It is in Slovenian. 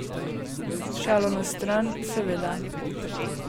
Šalo na stran, seveda.